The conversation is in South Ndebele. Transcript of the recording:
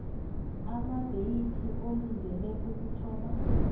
amadeyithi olindele ukuthoma